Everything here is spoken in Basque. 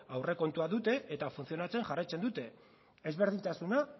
aurrekontua dute eta funtzionatzen jarraitzen dute ezberdintasuna